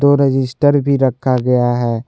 Register भी रखा गया है।